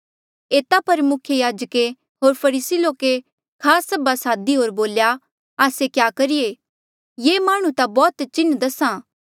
एता पर मुख्य याजके होर फरीसी लोके खास सभा सादी होर बोल्या आस्से क्या करिये ये माह्णुं ता बौह्त चिन्ह दस्हा